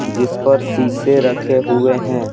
जिस पर शीशे रखे हुए हैं ।